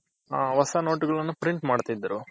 ಹೊಸ note ಗಳನ್ನೂ print ಮಾಡ್ತಿದ್ರು